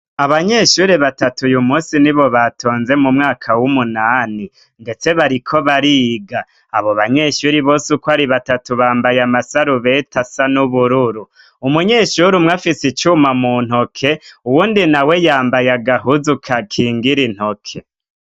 Abanyeshure batatu uymusi nibo batonze mw'ishuri m'umwaka m'umunani ndetse bariko bariga. Abo banyeshure bose ukw'ari batatu bambaye amasarubeti asa n'ubururu, umunyeshure umwe afise icuma muntoke uwundi nawe yambaye agahuzu gakingira intoke.